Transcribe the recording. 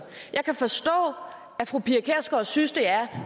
jeg kan forstå at fru pia kjærsgaard synes det er